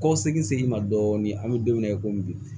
Kɔ segin ma dɔɔnin an be don min na i komi bi